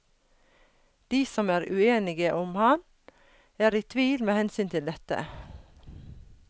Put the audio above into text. De som er uenige om ham, er i tvil med hensyn til dette.